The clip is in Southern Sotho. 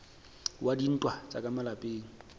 wa dintwa tsa ka malapeng